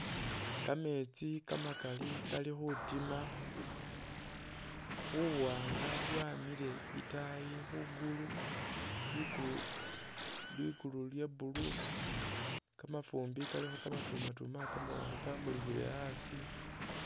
Kametsi kamakaali Kali khutima, buwanga bwamile itaayi khugulu ligulu ligulu lya blue kamafumbi kalikho kamatunatuma kamulikhile asi